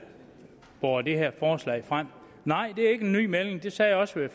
båret det her forslag frem nej det er ikke en ny melding det sagde jeg også